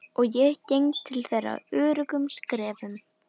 Og ég geng til þeirra öruggum skrefum.